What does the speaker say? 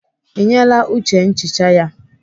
Ị nyeela Uche nchicha ya?